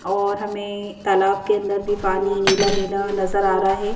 और हमें तालाब के अंदर भी पानी नीला नीला नजर आ रहा है।